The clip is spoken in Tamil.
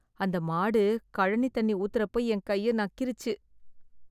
அந்த மாடு கழனி ஊத்தறப்ப என் கைய்ய நக்கிருச்சு.